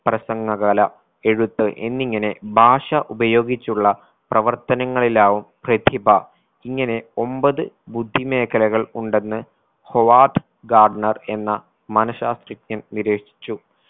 പ്രസംഗ കല എഴുത്ത് എന്നിങ്ങനെ ഭാഷ ഉപയോഗിച്ചുള്ള പ്രവർത്തനങ്ങളിലാവും പ്രതിഭ ഇങ്ങനെ ഒമ്പത് ബുദ്ധിമേഖലകൾ ഉണ്ടെന്ന് ഹൊവാഡ് ഗാർണർ എന്ന മനാശാസ്ത്രജ്ഞൻ നിരീക്ഷിച്ചു